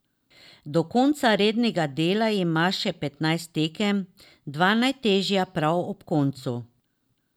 Do konca rednega dela ima še petnajst tekem, dva najtežja prav ob koncu.